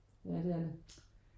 Ja det er det